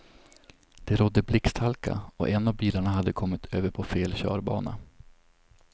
Det rådde blixthalka och en av bilarna hade kommit över på fel körbana.